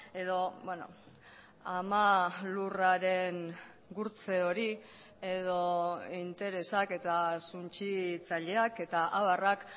edo ama lurraren gurtze hori edo interesak eta suntsitzaileak eta abarrak